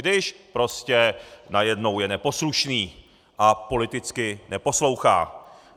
Když prostě najednou je neposlušný a politicky neposlouchá.